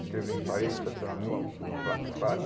Escrever em parede, estacionamento, placa de faixa.